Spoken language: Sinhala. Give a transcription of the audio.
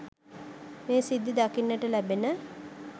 මේ සිද්ධි දකින්නට ලැබෙන